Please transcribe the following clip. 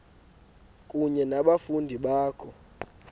kunye nabafundi bakho